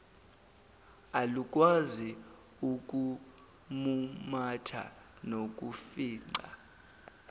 alukwazi ukumumatha nokufica